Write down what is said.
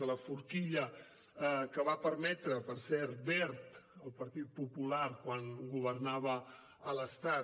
de la forquilla que va permetre per cert wert el partit popular quan governava a l’estat